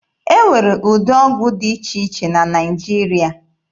E nwere ụdị ọgwụ dị iche iche na Naịjirịa.